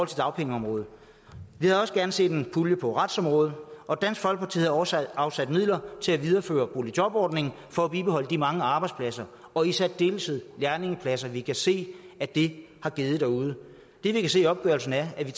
dagpengeområdet vi havde også gerne set en pulje på retsområdet og dansk folkeparti havde også afsat midler til at videreføre boligjobordningen for at bibeholde de mange arbejdspladser og i særdeleshed lærlingepladser som vi kan se at det har givet derude det vi kan se i opgørelsen er at vi